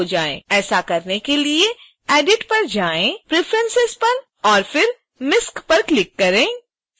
ऐसा करने के लिए edit पर जाएं preferences पर और फिर misc पर क्लिक करें